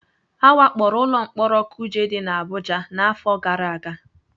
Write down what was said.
A wakporo ụlọ mkpọrọ kuje dị n'Abụja n'afọ gara aga